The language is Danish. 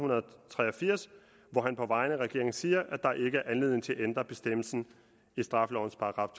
tre og firs hvor han på vegne af regeringen siger at der ikke er anledning til at ændre bestemmelsen i straffelovens §